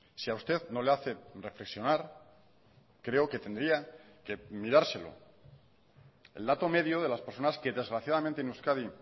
si a usted no le hace reflexionar creo que tendría que mirárselo el dato medio de las personas que desgraciadamente en euskadi